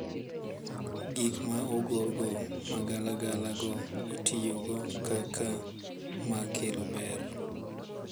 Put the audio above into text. Gik ma ogorgo magalagala go itiyogo kaka mag kelo ber.